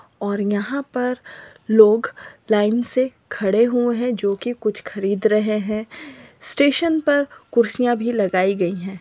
और यहाँ पर लोग लाइन से खड़े हुए है जो की कुछ खरीद रहे है स्टेशन पर कुर्सियाँ भी लगाई गयी है।